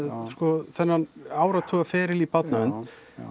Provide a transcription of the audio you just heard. sko þennan áratuga feril í barnavernd